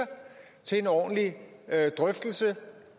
til en ordentlig drøftelse